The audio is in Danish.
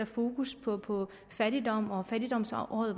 fokus på på fattigdom og at fattigdomsåret